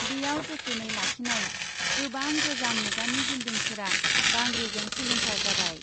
बेयाव जोथोनै लाखिनाय गोबां गोजाम मुगानि बिल्डिंफोरा बांग्रिजों सिलिंखार जाबाय।